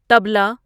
طبلہ